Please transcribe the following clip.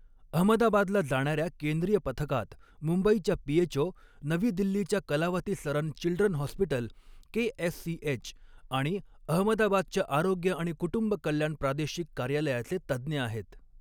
अहमदाबादला जाणऱ्या केंद्रीय पथकात मुंबईच्या पीएचओ, नवी दिल्लीच्या Kalawati Saran children hospital KSCH, आणि अहमदाबादच्या आरोग्य आणि कुटुंब कल्याण प्रादेशिक कार्यालयाचे तज्ज्ञ आहेत.